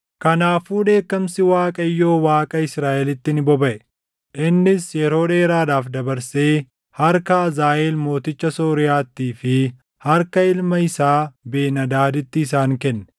Kanaafuu dheekkamsi Waaqayyoo Waaqaa Israaʼelitti ni bobaʼe; innis yeroo dheeraadhaaf dabarsee harka Hazaaʼeel mooticha Sooriyaattii fi harka ilma isaa Ben-Hadaadiitti isaan kenne.